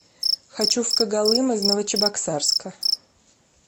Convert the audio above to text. хочу в когалым из новочебоксарска